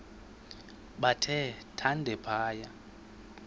bathe thande phaya